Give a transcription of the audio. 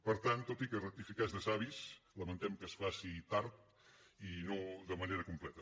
per tant tot i que rectificar és de savis lamentem que es faci tard i no de manera completa